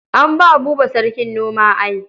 An ba Buba sarkin noma ai.